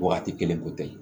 Wagati kelen ko tɛ